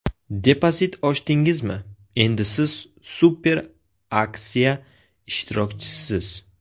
Depozit ochdingizmi, endi siz super aksiya ishtirokchisisiz!